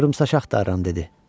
Qıvrımsaç axtarıram, dedi.